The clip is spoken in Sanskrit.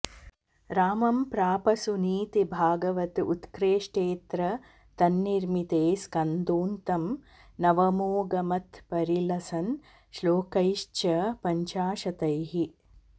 रामं प्राप सुनीतिभागवत उत्कृष्टेऽत्र तन्निर्मिते स्कन्धोऽन्तं नवमोऽगमत्परिलसन् श्लोकैश्च पञ्चाशतैः